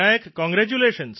congratulation